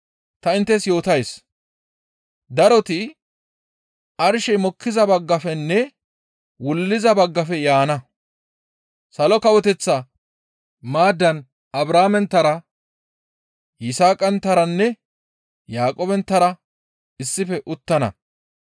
Ta inttes yootays; daroti arshey mokkiza baggafenne wulliza baggafe yaana. Salo Kawoteththa maaddan Abrahaamenttara Yisaaqanttaranne Yaaqoobenttara issife uttana.